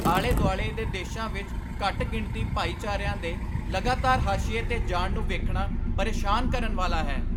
ਆਲੇ ਦੁਆਲੇ ਦੇ ਦੇਸ਼ਾਂ ਵਿੱਚ ਘੱਟ ਗਿਣਤੀ ਭਾਈਚਾਰਿਆਂ ਦੇ ਲਗਾਤਾਰ ਹਾਸ਼ੀਏ 'ਤੇ ਜਾਣ ਨੂੰ ਵੇਖਣਾ ਪਰੇਸ਼ਾਨ ਕਰਨ ਵਾਲਾ ਹੈ।